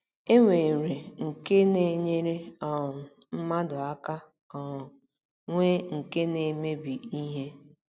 E nwere nke na - enyere um mmadụ aka um, nwee nke na - emebi ihe.